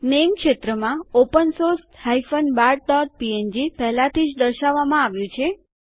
નામે ક્ષેત્રમાં opensource bartપીએનજી પહેલાથી જ દર્શાવવામાં આવ્યું છે